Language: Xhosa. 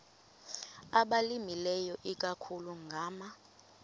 abalimileyo ikakhulu ngama